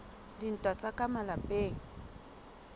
a dintwa tsa ka malapeng